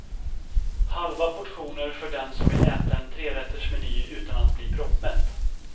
Halva portioner för den som vill äta en trerätters meny utan att bli proppmätt.